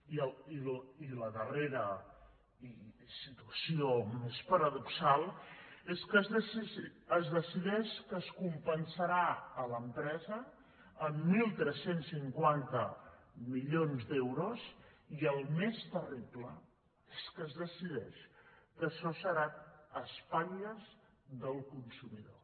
i la darrera situació més para·doxal és que es decideix que es compensarà l’empresa amb tretze cinquanta milions d’euros i el més terrible és que es decideix que això serà a espatlles del consumidor